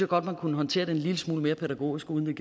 godt at man kunne håndtere det en lille smule mere pædagogisk uden